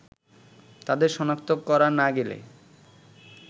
তাদের সনাক্ত করা না গেলে